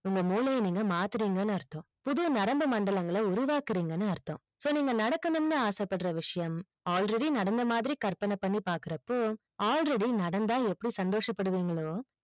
உங்க மூளையை நீங்க மாத்துறிங்க அர்த்தம் புது நரம்பு மண்டலங்கள் உருவாக்கிறிங்க அர்த்தம் so நீங்க நடக்கனும் ஆசை படுற விஷியம் already நடந்த மாதிரி கற்பனை பண்ணி பாக்கறப்போ already நடந்தா எப்படி சந்தோஷ படுவீங்களோ